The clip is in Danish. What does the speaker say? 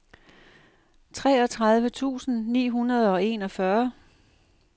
treogtredive tusind ni hundrede og enogfyrre